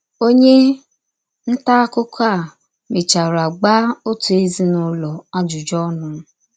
Ọnye nta akụkọ a mechara gbaa ọtụ ezinụlọ ajụjụ ọnụ.